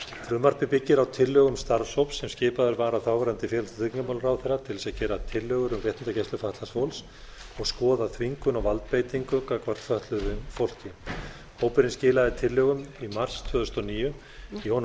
frumvarpið byggir á tillögum starfshóps sem skipaður var af þáverandi tryggingamálaráðherra til þess að gera tillögur um réttindagæslu fatlaðs fólks og skoða þvingun og valdbeitingu gagnvart fötluðu fólki hópurinn skilaði tillögum í mars tvö þúsund og níu í honum